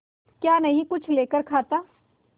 क्या नहीं कुछ लेकर खाता